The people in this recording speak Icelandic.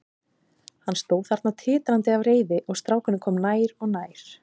Hann stóð þarna titrandi af reiði og strákurinn kom nær og nær.